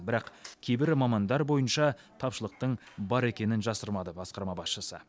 бірақ кейбір мамандар бойынша тапшылықтың бар екенін жасырмады басқарма басшысы